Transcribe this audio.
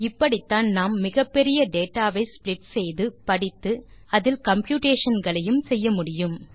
இப்படித்தான் நாம் மிகப்பெரிய டேட்டா வை ஸ்ப்ளிட் செய்து படித்து அதில் கம்ப்யூட்டேஷன் களையும் செய்யமுடியும்